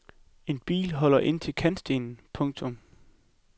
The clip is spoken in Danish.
En bil holder ind til kantstenen. punktum